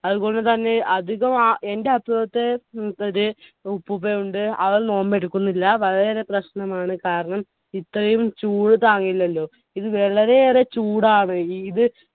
അതുപോലെതന്നെ തന്നെ അധിക ആ എന്റെ അസുഖത്തെ ഉപ്പുപ്പയുണ്ട് അവർ നോമ്പ് എടുക്കുന്നില്ല വളരെയേറെ പ്രശ്നമാണ് കാരണം ഇത്രയും ചൂട് താങ്ങില്ലല്ലോ ഇന്ന് വളരെയേറെ ചൂടാണ് ഈദ്